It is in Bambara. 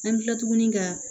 An bɛ tila tuguni ka